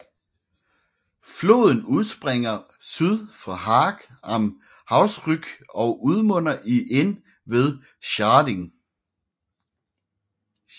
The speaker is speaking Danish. Floden udspringer syd for Haag am Hausrück og udmunder i Inn ved Schärding